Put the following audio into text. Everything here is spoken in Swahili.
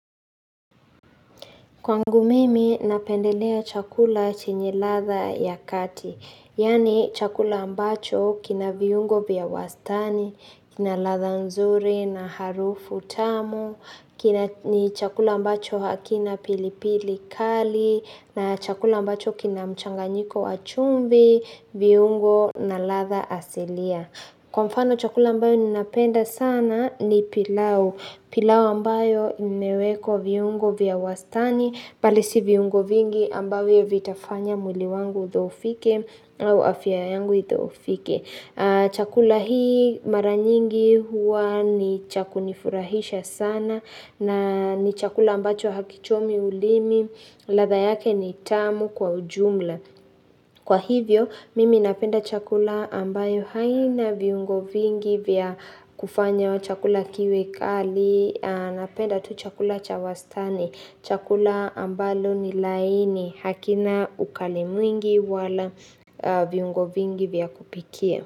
Kwangu mimi napendelea chakula chenye ladha ya kati, yaani chakula ambacho kina viungo vya wastani, kina ladha nzuri na harufu tamu, ni chakula ambacho hakina pilipili kali, na chakula ambacho kina mchanganyiko wa chumvi, viungo na ladha asilia. Kwa mfano chakula ambayo ninapenda sana ni pilau, pilau ambayo imewekwa viungo vya wastani, bali si viungo vingi ambavyo vitafanya mwili wangu udhoofike au afya yangu idhoofike. Chakula hikimara nyingi huwa ni cha kunifurahisha sana na ni chakula ambacho hakichomi ulimi, ladha yake ni tamu kwa ujumla. Kwa hivyo, mimi napenda chakula ambacho hakina viungo vingi vya kufanya chakula kiwe kali, napenda tu chakula cha wastani, chakula ambacho ni laini hakina ukali mwingi wala viungo vingi vya kupikia.